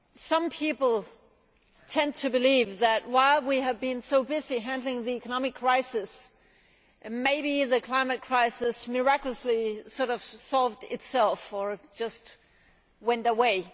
Some people tend to believe that while we have been so busy handling the economic crisis, maybe the climate crisis miraculously solved itself or just went away.